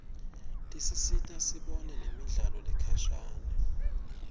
tisita sibone nemidlalo lekhashane